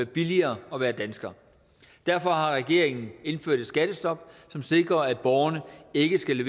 billigere at være dansker derfor har regeringen indført et skattestop som sikrer at borgerne ikke skal